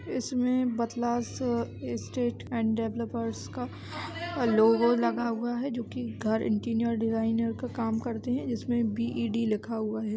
इसमें बथलास state and developers का लोगो लगा हुआ हैं जो की घर इन्टीरीअर डिजाइनर का काम करते हैं जिसमें बी.इ.डी. लिखा हुआ है।